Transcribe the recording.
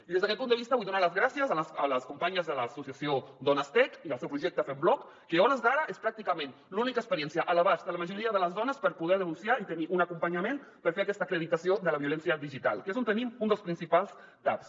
i des d’aquest punt de vista vull donar les gràcies a les companyes de l’associació donestech i el seu projecte fembloc que a hores d’ara és pràcticament l’única experiència a l’abast de la majoria de les dones per poder denunciar i tenir un acompanyament per fer aquesta acreditació de la violència digital que és on tenim un dels principals taps